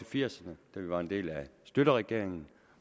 firserne da vi var en del af schlüterregeringen